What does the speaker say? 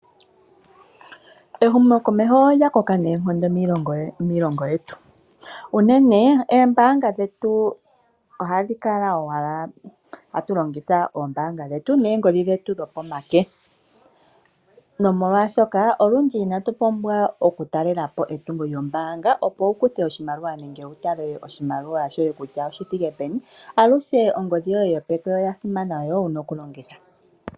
Ehumokomeho olya koka noonkondo miilongo yetu unene eembaanga dhetu ohadhi kala owala hatu longitha eembaanga dhetu neengodhi dhetu dhopomake. Nomolwashoka olundji inatu pumbwa okutaalela po etungo lyombaanga opo wu kuthe oshimaliwa nenge wu tale oshimaliwa shoye kutya oshithike peni, aluhe ongodhi yoye yo peke oya simana noyo wuna okulongitha.